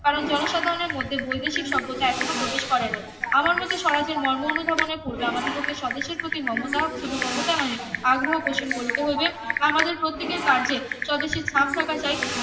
কারণ জনসাধারনের মধ্যে বৈদেশিক সভ্যতা এখনো প্রবেশ করে নাই আমার মতে স্বরাজের মর্ম অনুধাবনের পূর্বে আমাদিগকে স্বদেশের প্রতি মমতা শুধু মমতা নয় আগ্রহ পোষণ করিতে হইবে আমাদের প্রত্যেকের কার্যে স্বদেশির ছাপ থাকা চাই